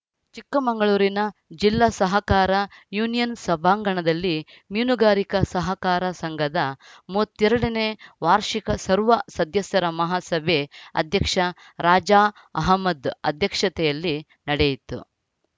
ಚಿಕ್ಕಮಂಗಳೂರಿನ ಜಿಲ್ಲಾ ಸಹಕಾರ ಯೂನಿಯನ್‌ ಸಭಾಂಗಣದಲ್ಲಿ ಮೀನುಗಾರಿಕಾ ಸಹಕಾರ ಸಂಘದ ಮೂವತ್ತ್ ಎರಡ ನೇ ವಾರ್ಷಿಕ ಸರ್ವ ಸದ್ಯಸರ ಮಹಾಸಭೆ ಅಧ್ಯಕ್ಷ ರಾಜಾ ಅಹ್ಮದ್‌ ಅಧ್ಯಕ್ಷತೆಯಲ್ಲಿ ನಡೆಯಿತು